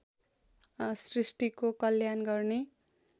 सृष्टिको कल्याण गर्ने